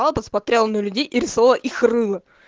он посмотрел на людей и рисовал их рыла